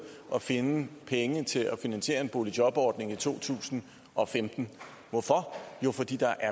og finde penge til at finansiere en boligjobordning i to tusind og femten hvorfor jo fordi der